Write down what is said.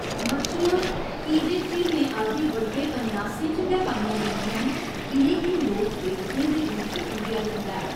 मच्छियां की जे झीलें आदि बड्डे पन्यासें च गै पाइयां जंदियां न, इ'नें गी लोक देवतें दे रूप च पूजेआ जंदा ऐ।